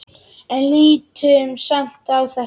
En lítum samt á þetta.